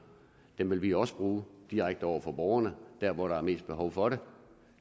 vil vi også bruge direkte over for borgerne der hvor der er mest behov for det